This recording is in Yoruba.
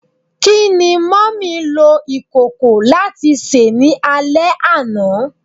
Kini Mummy lo ikoko lati se ni ale ana?